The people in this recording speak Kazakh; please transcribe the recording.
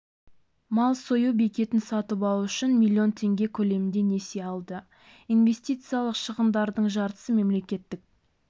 мал сою бекетін сатып алу үшін млн теңге көлемінде несие алды инвестициялық шығындардың жартысы мемлекеттік